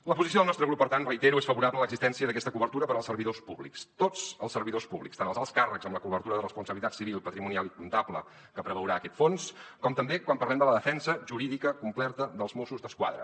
la posició del nostre grup per tant ho reitero és favorable a l’existència d’aquesta cobertura per als servidors públics tots els servidors públics tant els alts càrrecs amb la cobertura de responsabilitat civil patrimonial i comptable que preveurà aquest fons com també quan parlem de la defensa jurídica completa dels mossos d’esquadra